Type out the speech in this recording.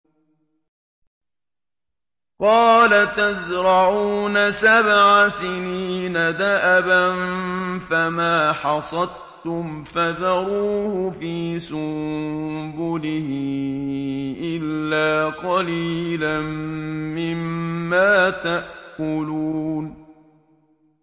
قَالَ تَزْرَعُونَ سَبْعَ سِنِينَ دَأَبًا فَمَا حَصَدتُّمْ فَذَرُوهُ فِي سُنبُلِهِ إِلَّا قَلِيلًا مِّمَّا تَأْكُلُونَ